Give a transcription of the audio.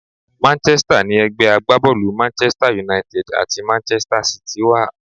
Manchester ni ẹgbẹ́ agbábọ́ọ̀lù Manchester United àti Manchester City wà.